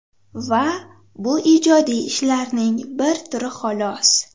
Va bu ijodiy ishlarning bir turi xolos.